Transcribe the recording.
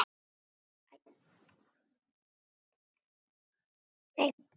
Hún mælti: